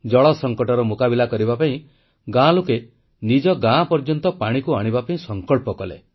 ଜଳ ସଙ୍କଟର ମୁକାବିଲା କରିବା ପାଇଁ ଗାଁ ଲୋକେ ନିଜେ ଗାଁ ପର୍ଯ୍ୟନ୍ତ ପାଣିକୁ ଆଣିବା ପାଇଁ ସଂକଳ୍ପ କଲେ